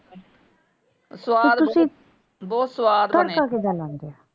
ਤੇ ਤੁਸੀਂ ਤੜਕਾ ਕਿਦਾਂ ਲਾਂਦੇ ਆ?